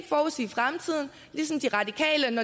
forudsige fremtiden lige som de radikale